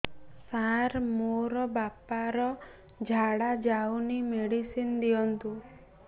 ସାର ମୋର ବାପା ର ଝାଡା ଯାଉନି ମେଡିସିନ ଦିଅନ୍ତୁ